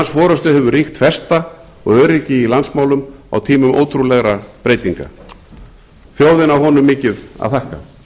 forustu hefur ríkt festa og öryggi í landsmálum á tímum ótrúlegra breytinga þjóðin á honum mikið að þakka